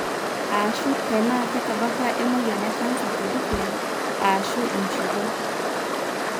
ashu tenaa ketabaaki emoyian ecanser tedukuya ashu inshiwuo.